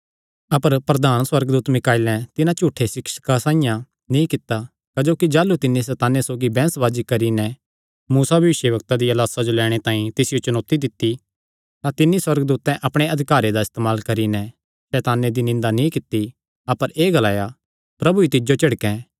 अपर प्रधान सुअर्गदूत मीकाईलें तिन्हां झूठे सिक्षकां साइआं नीं कित्ता क्जोकि जाह़लू तिन्नी सैताने सौगी बैंह्सबाजी करी नैं मूसा भविष्यवक्ता दिया लाह्सा जो लैणे तांई तिसियो चुनौती दित्ती तां तिन्नी सुअर्गदूतैं अपणे अधिकारे दा इस्तेमाल करी नैं सैताने दी निंदा नीं कित्ती अपर एह़ ग्लाया प्रभु ई तिज्जो झिड़कैं